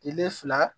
Tile fila